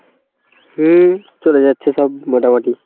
হুম চলে যাচ্ছে সব মোটামুটি